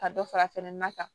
Ka dɔ fara fɛnɛ na kan